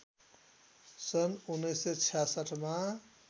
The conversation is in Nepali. सन् १९६६ मा